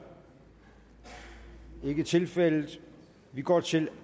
det er ikke tilfældet vi går til